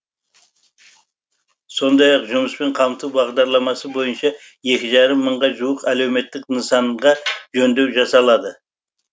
сондай ақ жұмыспен қамту бағдарламасы бойынша екі жарым мыңға жуық әлеуметтік нысанға жөндеу жасалады